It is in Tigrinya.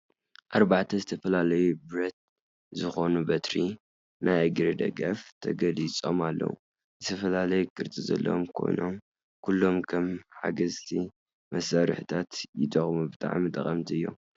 ኣርባዕተ ዝተፈላለዩ ብረት ዝኾኑ በትሪ (ናይ እግሪ ደገፍ) ተገሊጾም ኣለዉ። ዝተፈላለየ ቅርጺ ዘለዎም ኮይኖም ኩሎም ከም ሓገዝቲ መሳርሒታት ይጥቀሙ። ብጣዕሚ ጠቐምቲ እዮም!